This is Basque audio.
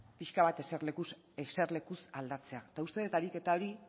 pixka bat eserlekuz aldatzea eta uste dut ariketa hori